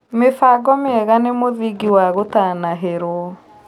Mĩbango mĩega nĩ mũthĩngĩ wa gũtanahĩrwo